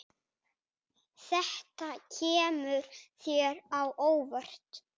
Þetta kemur þér á óvart.